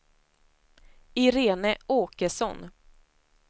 Irene Åkesson